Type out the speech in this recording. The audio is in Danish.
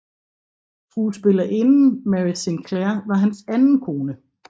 Skuespillerinden Mary Sinclair var hans anden kone